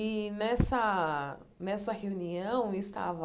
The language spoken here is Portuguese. E, nessa nessa reunião, estava